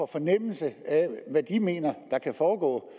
fornemmelse af hvad de mener der kan foregå